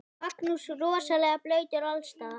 Magnús: Rosalega blautt alls staðar?